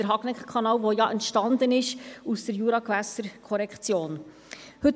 Der Hagneckkanal ist ja aus der Juragewässerkorrektion entstanden.